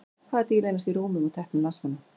Hvaða dýr leynast í rúmum og teppum landsmanna?